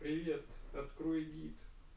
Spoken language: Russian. привет открой гид